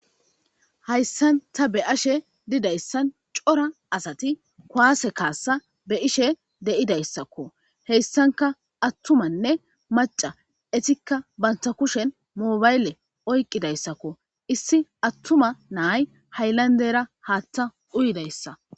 Hayssan ta be ashe didayssan cora asati kwaase kaassa be ishe deidayssakko heyssanka attumanne maca etikka banta kushen moobaylle oyqqidayssakko issi attuma naay hayllandera haatta uyidayssa